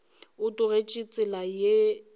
o tlogetše tsela yela ra